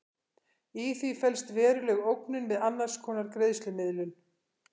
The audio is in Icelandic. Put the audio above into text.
Í því felst veruleg ógnun við annars konar greiðslumiðlun.